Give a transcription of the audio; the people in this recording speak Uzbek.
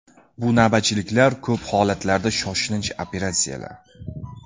Bu navbatchiliklar, ko‘p holatlarda shoshilinch operatsiyalar.